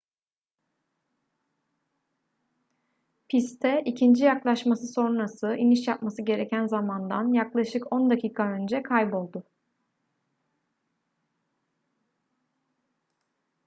piste ikinci yaklaşması sonrası iniş yapması gereken zamandan yaklaşık on dakika önce kayboldu